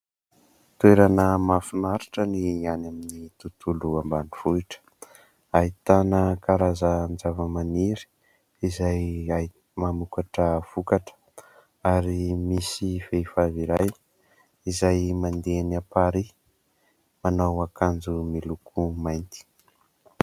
Toerana mahafinaritra ny any amin'ny tontolo ambanivohitra ; ahitana karazan- java- maniry izay mamokatra vokatra. Ary misy vehivavy iray izay mandeha eny amparihy manao akanjo miloko mainty.